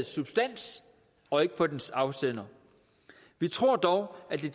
substans og ikke på dets afsender vi tror dog at det